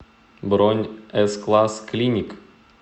бронь эс классклиник